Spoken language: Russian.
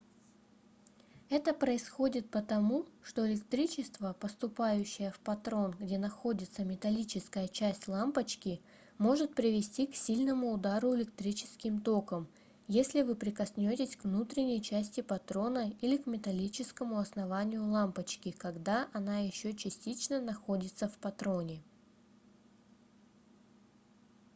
это происходит потому что электричество поступающее в патрон где находится металлическая часть лампочки может привести к сильному удару электрическим током если вы прикоснётесь к внутренней части патрона или к металлическому основанию лампочки когда она ещё частично находится в патроне